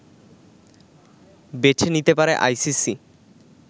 বেছে নিতে পারে আইসিসি